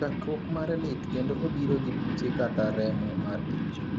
Chakruok mare lit kendo obiro gi buche kata remo mar ich.